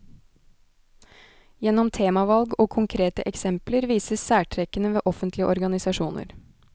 Gjennom temavalg og konkrete eksempler vises særtrekkene ved offentlige organisasjoner.